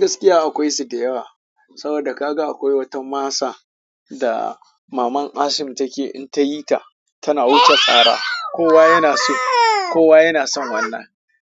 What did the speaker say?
Gaskiya akwai su da yawa, saboda kaga akwai wata masa da maman Assim take in ta yi ta tana wuce tsara. Kowa yana so, kowa yana son wannan.